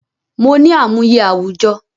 Mo ní àmúyẹ àwùjọ